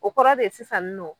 O kɔrɔ de ye sisan nɔn